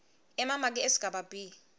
emamaki esigaba b